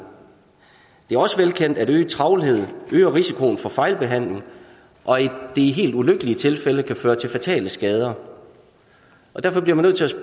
det er også velkendt at øget travlhed øger risikoen for fejlbehandling og i de helt ulykkelige tilfælde kan føre til fatale skader derfor bliver man nødt